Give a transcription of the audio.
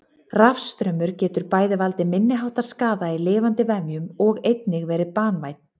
Rafstraumur getur bæði valdið minniháttar skaða í lifandi vefjum og einnig verið banvænn.